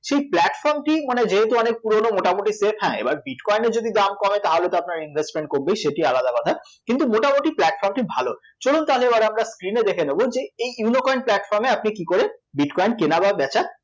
সেই pltform টি সেহেতু অনেক পুরোনো মোটামুটি safe হ্যাঁ এবার bitcoin এর যদি দাম কমে তাহলে তো আপনার investment কমবেই সেটি আলাদা কথাকিন্তু মটামুটি platform টি ভালো চলুন তাহলে এবার আমরা screen এ দেখে নেব যে এই ইউ নো কয়েন platform এ আপনি কী করে bitcoin কেনা বা বেচা